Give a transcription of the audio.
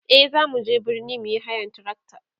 e zamu je birni muyi hayan trakta